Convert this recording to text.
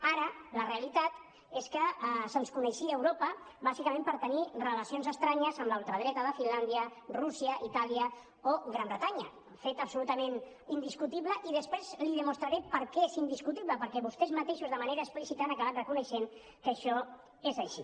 ara la realitat és que se’ns coneixia a europa bàsicament per tenir relacions estranyes amb la ultradreta de finlàndia rússia itàlia o gran bretanya fet absolutament indiscutible i després li demostraré per què és indiscutible perquè vostès mateixos de manera explícita han acabat reconeixent que això és així